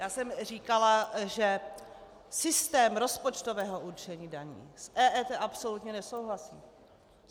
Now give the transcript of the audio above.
Já jsem říkala, že systém rozpočtového určení daní s EET absolutně nesouhlasí.